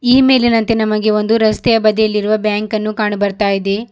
ಈ ಮೇಲಿನಂತೆ ನಮಗೆ ರಸ್ತೆ ಬದಿಯಲ್ಲಿರುವ ಬ್ಯಾಂಕ್ ಅನ್ನು ಕಾಣುಬರ್ತಾಯಿದೆ.